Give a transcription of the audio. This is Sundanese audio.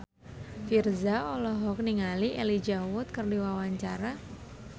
Virzha olohok ningali Elijah Wood keur diwawancara